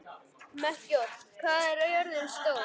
Melkíor, hvað er jörðin stór?